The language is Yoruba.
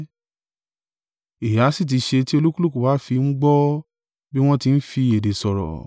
Èéha sì tí ṣe ti olúkúlùkù wa fi ń gbọ́ bí wọ́n tí ń fi èdè sọ̀rọ̀?